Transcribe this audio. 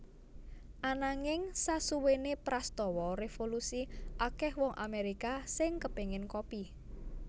Ananging sasuwene prastawa revolusi akeh wong Amerika sing kepengen kopi